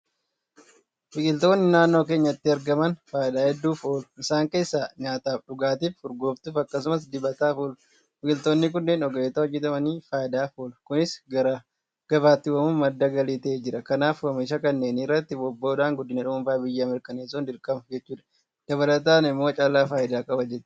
Biqiltoonni naannoo keenyatti argaman faayidaa hedduuf oolu. Isaan keessaa nyaataaf, dhugaatiif, urgooftuuf akkasumas dibataaf oolu. Biqiltoonni kunneen ogeessotaan hojjetamanii faayidaaf oolu. Kunis gara gabaatti baafamuun madda galii ta'aas jira. Kanaaf oomisha kanneenirratti bobba'uudhaan guddina dhuunfaafi biyyaa mirkaneessuun dirqama jechuudha. Daldalamoo oomishatu caala faayidaa qaba jettanii yaaddu?